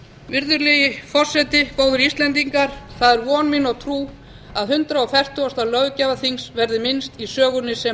virðulegi forseti góðir íslendingar það er von mín og trú að hundrað fertugasta löggjafarþings verði minnst í sögunni sem